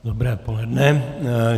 Dobré poledne.